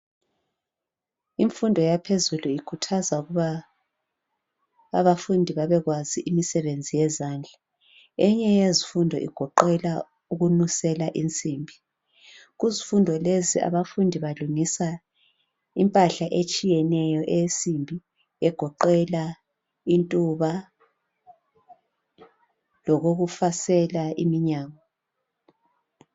Imfundo yaphezulu ikhuthaza abafundi ukuthi bebekwazi imisebenzi yezandla ,eyinye yezifundo igoqela ukufundela ukununsela insimbi impahla enjenge ntuba lokokufasela iminyango.